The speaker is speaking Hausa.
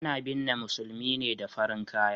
A na binne musulmi ne da farin kaya